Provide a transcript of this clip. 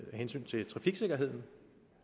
hensyn til trafiksikkerheden